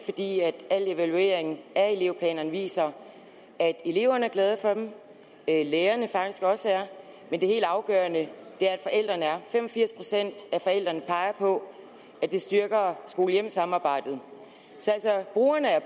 fordi al evaluering af elevplanerne viser at eleverne er glade for dem det er lærerne faktisk også men det helt afgørende er at forældrene er fem og firs procent af forældrene peger på at det styrker skole hjem samarbejdet så brugerne er